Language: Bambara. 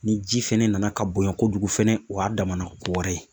Ni ji fɛnɛ nana ka bonya kojugu fɛnɛ o y'a damana ko wɛrɛ ye